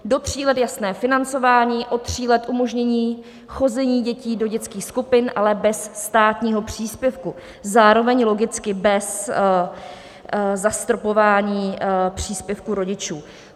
Do tří let jasné financování, od tří let umožnění chození dětí do dětských skupin, ale bez státního příspěvku, zároveň logicky bez zastropování příspěvku rodičů.